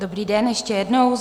Dobrý den ještě jednou.